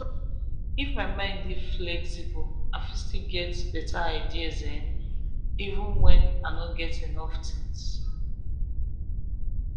if my mind dey flexible i fit still get better ideas even when i no get enough things.